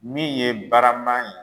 Min ye barama ye